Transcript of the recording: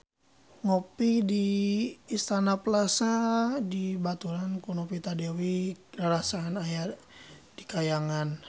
Ngopi di Istana Plaza dibaturan ku Novita Dewi rarasaan aya di kahyangan